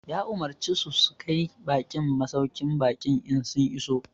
Ya Umarce su su kai baƙin masauƙin baƙi in sun iso